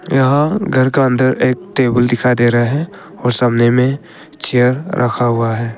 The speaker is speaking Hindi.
यहां घर का अंदर एक टेबल दिखाई दे रहा है और सामने में चेयर रखा हुआ है।